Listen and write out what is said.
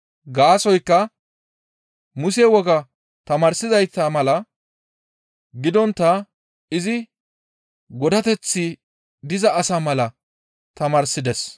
Gaasoykka Muse woga tamaarsizayta mala gidontta izi godateththi diza asa mala tamaarsides.